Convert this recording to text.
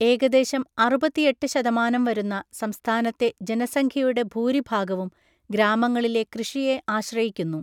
ഏകദേശം അറുപത്തിഎട്ട് ശതമാനം വരുന്ന സംസ്ഥാനത്തെ ജനസംഖ്യയുടെ ഭൂരിഭാഗവും, ഗ്രാമങ്ങളിലെ കൃഷിയെ ആശ്രയിക്കുന്നു.